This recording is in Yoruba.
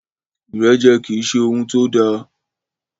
Ìrẹ́jẹ kì í ṣe ohun tó da.